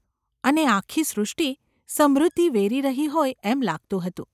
અને આખી સૃષ્ટિ સમૃદ્ધિ વેરી રહી હોય એમ લાગતું હતું.